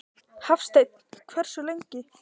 Hafsteinn: Hversu lengi?